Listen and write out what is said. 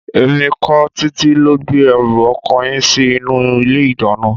Èmi kọ́, Títí ló gbé ẹrù ọkọ yín sí inú ilé-ìdáná.